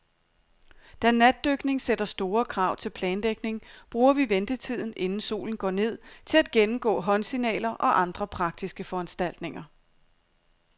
Da natdykning sætter store krav til planlægning, bruger vi ventetiden, inden solen går ned, til at gennemgå håndsignaler og andre praktiske foranstaltninger.